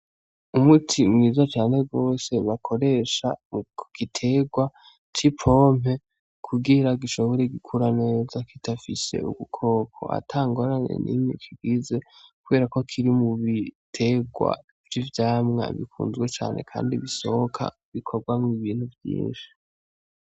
Umuti mwiza cane gose bakoresha kugitegwa c'ipompe kugira gishobore gukura neza kidafise ubukoko, atangorane n'imwe kigize. Kuberako kiri mu bitegwa vy'ivyamwa bikunzwe cane kandi bisohoka bikogwamwo ibintu vyinshi.